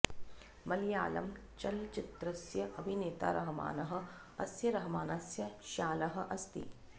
मळयाळं चलच्चित्रस्य अभिनेता रहमानः अस्य रहमानस्य श्यालः अस्ति